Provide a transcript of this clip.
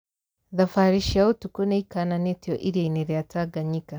Thabarĩ cia ũtukũ nĩikananĩtio iria-inĩ rĩa Tanganyika